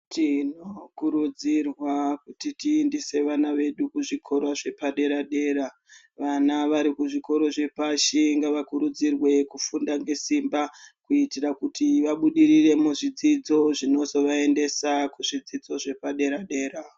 Tinokurudzirwa kuti tiendese vana vedu kuzvikora zvepadera dera vana vari kuzvikoro zvepashi ngavakurudzirwe kufunda ngesimba kuitira kuti vaburire muzvidzidzo zvinozovaendesa kuzvidzidzo zvepadera dera.